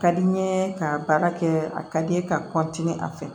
Ka di n ye ka baara kɛ a ka di n ye ka a fɛ